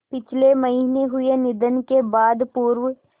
पिछले महीने हुए निधन के बाद पूर्व